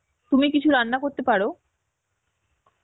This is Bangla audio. তুমি কিছু রান্না করতে পারো?